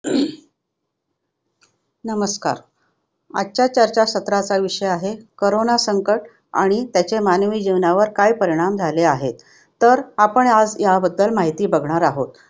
नमस्कार, आजच्या चर्चासत्राचा विषय आहे करोना संकटआणि त्याचे मानवी जीवनावर काय परिणाम झाले आहेत. तर आपण आज हयाबद्दल माहिती बघणार आहोत.